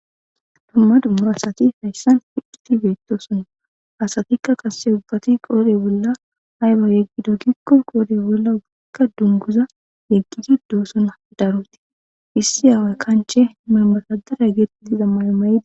dumma dummura asati hayssan fidhiti beettosona asatikka qasse ubbati qoode bolla hayba yeggido gikko qoode bolla oggikka dunguza yeggidi doosona daroti issi aaway kanche mamatadara gettidi zammayo mayidi